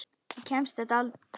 Ég kemst þetta einn.